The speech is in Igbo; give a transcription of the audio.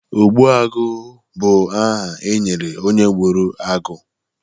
ogbuagụ bụ aha e nyere onye gburu agụ